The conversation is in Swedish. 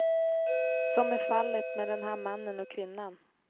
Som i fallet med den här mannen och kvinnan.